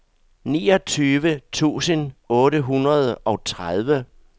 niogtyve tusind otte hundrede og tredive